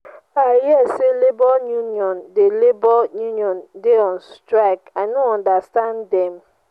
i hear say labour unión dey labour unión dey on strike. i no understand dem.